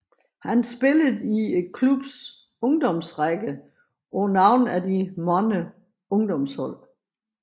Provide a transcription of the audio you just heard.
Han spillede i klubbens ungdomsrækker på nogle af de mange ungdomshold